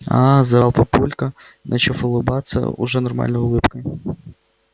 а-а-а-а-а-а заорал папулька начав улыбаться уже нормальной улыбкой